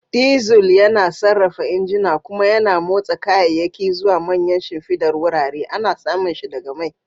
Diesel yana sarrafa injuna kuma yana motsa kayayyaki zuwa manyan shimfidar wurare. Ana samun shi daga mai.